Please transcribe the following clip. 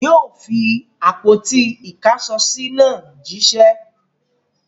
Yóò fi àpótí-ìkáṣọsí náà jíṣẹ́!